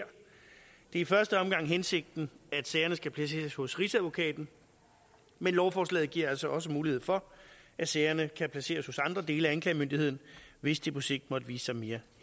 i første omgang hensigten at sagerne skal placeres hos rigsadvokaten men lovforslaget giver altså også mulighed for at sagerne kan placeres hos andre dele af anklagemyndigheden hvis det på sigt måtte vise sig mere